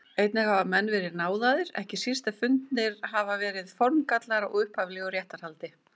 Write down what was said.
Einnig hafa menn verið náðaðir, ekki síst ef fundnir hafa verið formgallar á upphaflegu réttarhaldi.